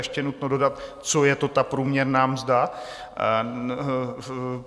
Ještě je nutno dodat, co je to ta průměrná mzda.